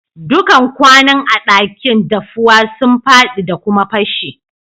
Dukan kwanun a'dakin daffuwa sun fadi da kuma pashe.